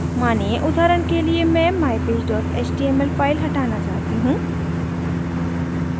मानिए उदाहरण के लिए मैं mypage html file हटाना चाहती हूँ